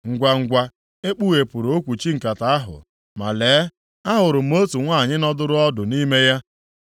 Ngwangwa, e kpughepụrụ okwuchi nkata ahụ, ma lee, ahụrụ m otu nwanyị nọdụrụ ọdụ nʼime ya.